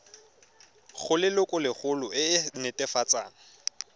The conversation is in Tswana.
go lelokolegolo e e netefatsang